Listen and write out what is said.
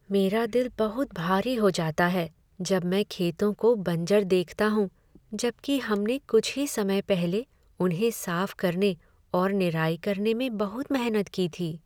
मेरा दिल बहुत भारी हो जाता है जब मैं खेतों को बंजर देखता हूँ जब कि हमने कुछ ही समय पहले उन्हें साफ करने और निराई करने में बहुत मेहनत की थी।